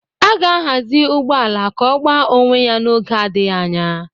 A ga-ahazi ụgbọ ala ka ọ gbaa onwe ya n'oge adịghị anya